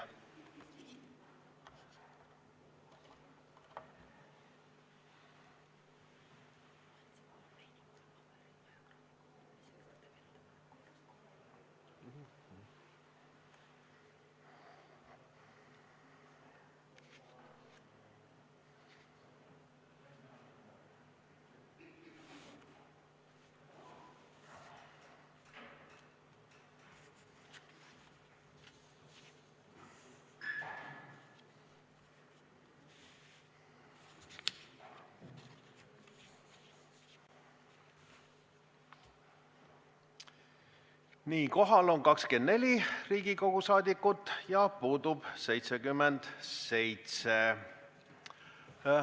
Kohaloleku kontroll Kohal on 24 Riigikogu liiget ja puudub 77.